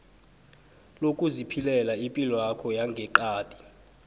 lokuziphilela ipilwakho yangeqadi